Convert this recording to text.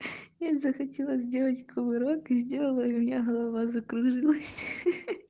я захотела сделать кувырок и сделала и у меня голова закружилась хи-хи